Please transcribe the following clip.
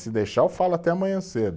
Se deixar, eu falo até amanhã cedo.